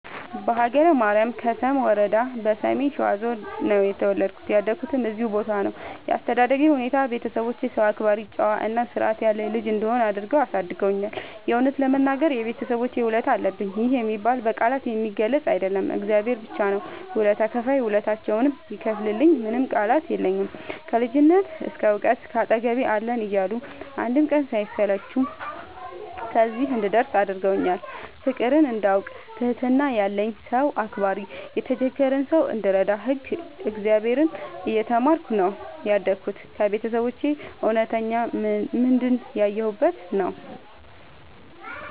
በሀገረ ማርያም ከሰም ወረዳ በሰሜን ሸዋ ዞን ነው የተወለድኩት ያደኩትም እዚሁ ቦታ ነው። ያስተዳደግ ሁኔታዬ ቤተሰቦቼ ሰው አክባሪ ጨዋ እና ስርዐት ያለኝ ልጅ እንድሆን አድርገው አሳድገውኛል። የእውነት ለመናገር የቤተሰቦቼ ውለታ አለብኝ ይህ የሚባል በቃላት የሚገለፅ አይደለም እግዚአብሔር ብቻ ነው ውለታ ከፍይ ውለታቸውን ይክፈልልኝ ምንም ቃላት የለኝም። ከልጅነት እስከ ዕውቀት ካጠገቤ አለን እያሉ አንድም ቀን ሳይሰለቹ ከዚህ እንድደርስ አድርገውኛል። ፍቅርን እንዳውቅ ትህትና ያለኝ ሰው አክባሪ የተቸገረ ሰው እንድረዳ ህግ እግዚአብሔርን እየተማርኩ ነው ያደግሁት ከቤተሰቦቼ እውነተኛ ምንድን ያየሁበት ነው።